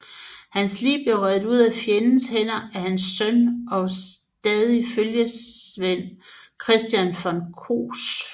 Hans lig blev revet ud af fjendens hænder af hans søn og stadige følgesvend Christian von Koss